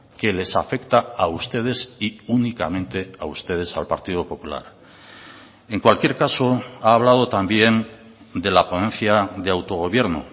que les afecta a ustedes y únicamente a ustedes al partido popular en cualquier caso ha hablado también de la ponencia de autogobierno